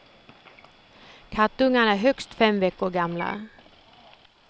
Kattungarna är högst fem veckor gamla.